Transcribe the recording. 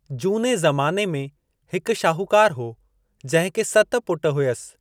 जूने ज़माने में, हिकु शाहूकारु हो जंहिंखे सत पुट हुयसि।